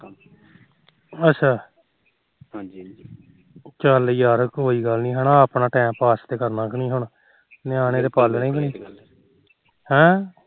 ਚੱਲ ਯਾਰ ਕੋਈ ਗੱਲ ਨੀ ਆਪਣਾ time pass ਤਾ ਕਰਨਾ ਹੁਣ ਨਿਆਣੇ ਤੇ ਪਾਲਣੇ ਕ ਨਹੀ ਹਮ